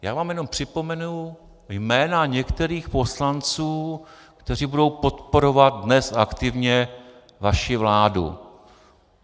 Já vám jenom připomenu jména některých poslanců, kteří budou podporovat dnes aktivně vaši vládu.